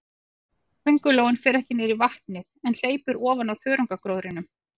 Köngulóin fer ekki niður í vatnið, en hleypur ofan á þörungagróðrinum.